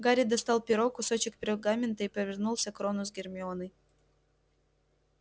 гарри достал перо кусочек пергамента и повернулся к рону с гермионой